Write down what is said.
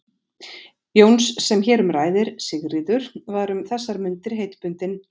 Jóns sem hér um ræðir, Sigríður, var um þessar mundir heitbundin